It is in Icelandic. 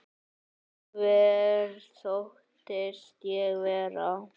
Hver þóttist ég vera?